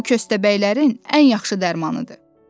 Bu kəsədəbəylərin ən yaxşı dərmanıdır.